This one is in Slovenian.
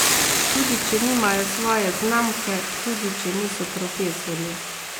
Tudi če nimajo svoje znamke, tudi če niso profesorji.